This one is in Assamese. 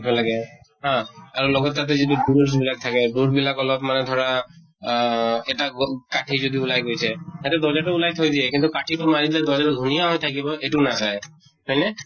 ৰাখিব লাগে । হা । আৰু লগত তাতে যাতে বুৰুচ বিলাক থাকে , বুৰুচ বিলাক অলপ্মান ধৰা আ এটা গ কাঠি যদি ওলাই গৈছে, সেইটো দৰ্জা তো উলাই থৈ দিয়ে কিন্তু কাঠি তো মাৰিলে দৰ্জা তো ধুনীয়া হৈ থাকিব, এইটো নাচাই । হয় নে?